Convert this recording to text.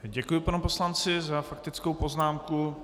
Děkuji panu poslanci za faktickou poznámku.